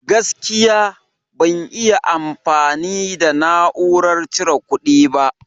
Gaskiya, ban iya amfani da na'urar cire ƙudi ba.